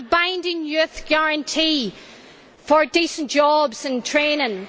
we need a binding youth guarantee for decent jobs and training